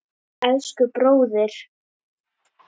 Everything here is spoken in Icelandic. Elsku bróðir!